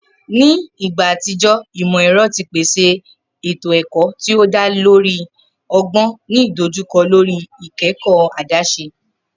Ni igba atijọ, imọ-ẹrọ ti pese eto-ẹkọ ti o da lori ọgbọn, ni idojukọ lori ikẹkọ adaṣe.